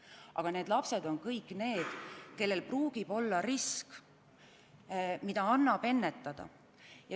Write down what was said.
Aga kõigi nende laste puhul võib esineda teatav risk, mille realiseerumist annab ennetada.